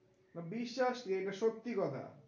বিশ্বাস কি? এটা সত্যি কথা।